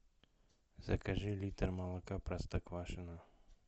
закажи литр молока простоквашино